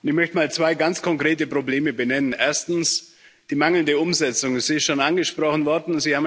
Ich möchte einmal zwei ganz konkrete Probleme benennen Erstens, die mangelnde Umsetzung ist schon angesprochen worden.